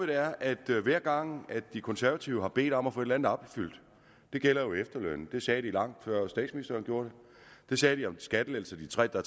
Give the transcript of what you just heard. er at hver gang de konservative har bedt om at få et eller andet opfyldt det gælder jo efterlønnen det sagde de lang før statsministeren gjorde det sagde de om de skattelettelser der